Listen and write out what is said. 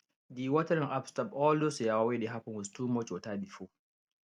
the watering app stop all those yawa wey dey happen with too much water before